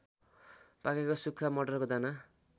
पाकेको सुक्खा मटरको दाना